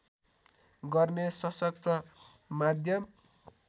गर्ने सशक्त माध्यम